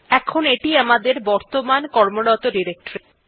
এখন এইটি আমাদের বর্তমান কর্মরত ডিরেক্টরী